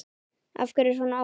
Af hverju svona oft?